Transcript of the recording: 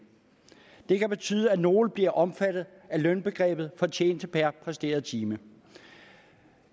det kan betyde at nogle bliver omfattet af lønbegrebet fortjeneste per præsteret time